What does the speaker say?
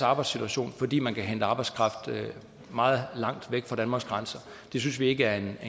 arbejdssituation fordi man kan hente arbejdskraft meget langt væk fra danmarks grænser og det synes vi ikke er en